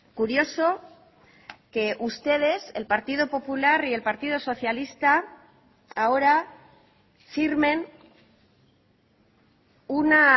curioso que ustedes el partido popular y el partido socialista ahora firmen una